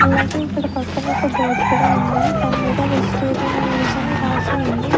అలాగే ఇక్కడ పక్కన ఒక బోర్డు కూడా ఉంది దాని మీద వెజిటేరియన్ మీల్స్ అని రాసి ఉంది.